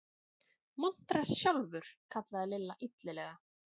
Montrass sjálfur! kallaði Lilla illilega.